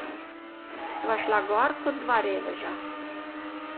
Sva šla gor ko dva reveža.